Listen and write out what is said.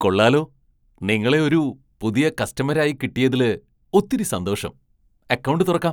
കൊള്ളാലോ! നിങ്ങളെ ഒരു പുതിയ കസ്റ്റമര് ആയി കിട്ടിയതില് ഒത്തിരി സന്തോഷം. അക്കൗണ്ട് തുറക്കാം.